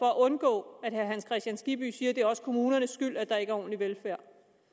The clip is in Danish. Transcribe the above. at undgå at herre hans kristian skibby siger det er også kommunernes skyld at der ikke er ordentlig velfærd